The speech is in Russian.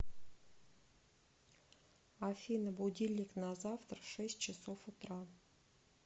афина будильник на завтра шесть часов утра